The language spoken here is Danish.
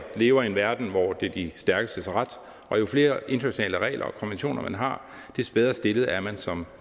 lever i en verden hvor de stærkeste har ret og jo flere internationale regler og konventioner man har des bedre stillet er man som